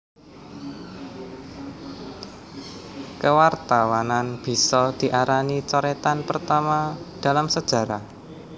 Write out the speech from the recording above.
Kewartawanan bisa diarani coretan pertama dalam sejarah